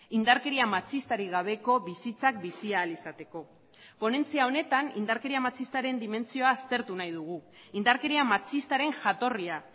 indarkeria matxistarik gabeko bizitzak bizi ahal izateko ponentzia honetan indarkeria matxistaren dimentsioa aztertu nahi dugu indarkeria matxistaren jatorria